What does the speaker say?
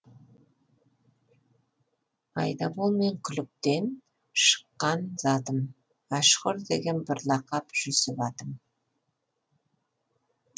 айдабол мен күліктен шыққан затым мәшһүр деген бір лақап жүсіп атым